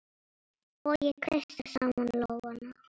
Og ég kreisti saman lófana.